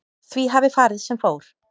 Því hafi farið sem fór